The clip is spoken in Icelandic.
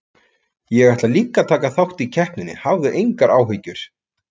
Ég ætla líka að taka þátt í keppninni, hafðu engar áhyggjur.